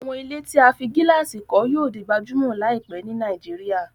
Àwọn ilé tí a fí gílàsì kọ́ yíò di gbajúmọ̀ láìpẹ́ ni Nàìjíríà